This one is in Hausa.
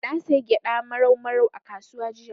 Na sayi gyaɗa Marau Marau a kasuwa jiya.